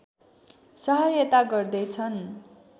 सहायता गर्दै छन्